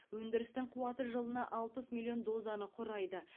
өндірістің қуаты жылына алпыс миллион дозаны құрайды